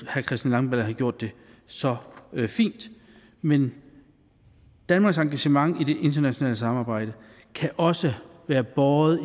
herre christian langballe havde gjort det så fint men danmarks engagement i det internationale samarbejde kan også være båret